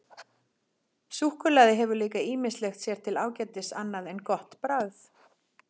Súkkulaði hefur líka ýmislegt sér til ágætis annað en gott bragð.